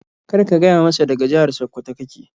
Kar ka gaya masa daga jihar Sakkwato ka ke.